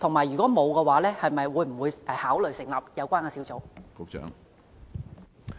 如果沒有，會否考慮成立有關的小組？